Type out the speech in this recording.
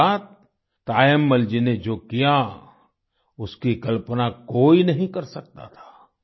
इसके बाद तायम्मल जी ने जो किया उसकी कल्पना कोई नहीं कर सकता था